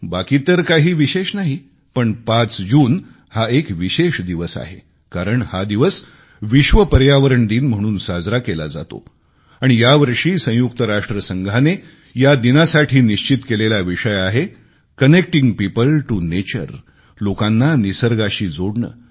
बाकी तर काही विशेष नाही पण 5 जून हा एक विशेष दिवस आहे कारण हा दिवस विश्व पर्यावरण दिन म्हणून साजरा केला जातो आणि या वर्षी संयुक्त राष्ट्रसंघाने या दिनासाठी निश्चित केलेला विषय आहे कनेक्टिंग पियोपल टीओ नेचर लोकांना निसर्गाशी जोडणे